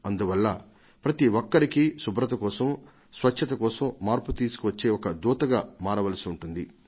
అందువల్ల ప్రతి ఒక్కరికీ శుభ్రత కోసం స్వచ్ఛత కోసం మార్పు తీసుకొచ్చే ఒక దూతగా మారవలసి ఉంటుంది